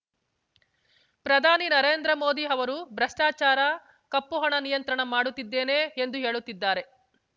ಪ್ರಧಾನಿ ನರೇಂದ್ರ ಮೋದಿ ಅವರು ಭ್ರಷ್ಟಾಚಾರ ಕಪ್ಪು ಹಣ ನಿಯಂತ್ರಣ ಮಾಡುತ್ತಿದ್ದೇನೆ ಎಂದು ಹೇಳುತ್ತಿದ್ದಾರೆ